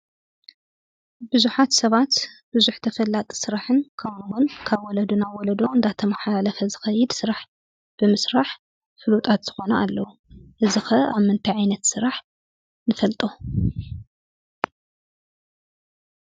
ብዙሓት ሰባት ብዙሕ ተፈላጢ ስራሕን ከምኡውን ካብ ወለዶ ናብ ወለዶ እንዳተመሓላለፈ ዝኸይድ ስራሕ ብምስራሕ ፍሉጣት ዝኾኑ ኣለዉ፡፡ እዚ ኸ ኣብ ምንታይ ዓይነት ስራሕ ንፈልጦ?